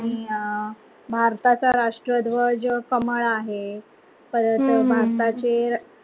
आणि भारताचा राष्ट्रीय ध्वज कमळ आहे. परत भरताचे